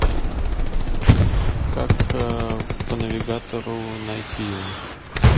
как по навигатору найти его